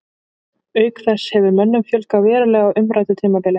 Auk þess hefur mönnum fjölgað verulega á umræddu tímabili.